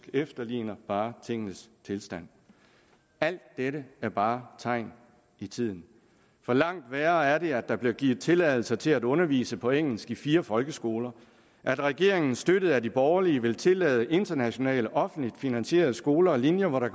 efterligner bare tingenes tilstand alt dette er bare tegn i tiden langt værre er det at der bliver givet tilladelse til at undervise på engelsk i fire folkeskoler at regeringen støttet af de borgerlige vil tillade internationale offentligt finansierede skoler og linjer hvor der